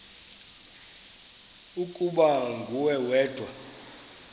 ukuba nguwe wedwa